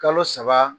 Kalo saba